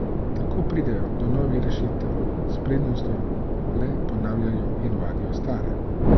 Tako pridejo do novih rešitev, s pridnostjo le ponavljajo in vadijo stare.